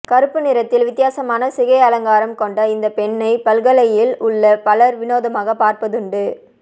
கருப்பு நிறத்தில் வித்தியாசமான சிகை அலங்காரம் கொண்ட இந்த பெண்ணை பல்கலையில் உள்ள பலர் விநோதமாக பார்ப்பதுண்டு